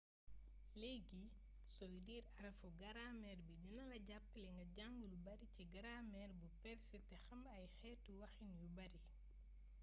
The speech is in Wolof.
leegi soy liir aaraffu grameer bii dinala jappalé nga jàng lou bari ci grameer bu perse té xam ay xeetu waxin yu bari